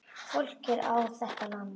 Fólkið á þetta land.